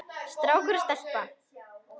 Strákur og stelpa.